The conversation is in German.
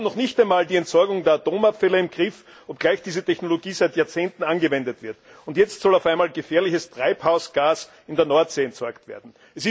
Wir haben noch nicht einmal die Entsorgung der Atomabfälle im Griff, obgleich diese Technologie seit Jahrzehnten angewendet wird, und jetzt soll auf einmal gefährliches Treibhausgas in der Nordsee entsorgt werden.